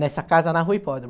Nessa casa na Rua Hipódromo.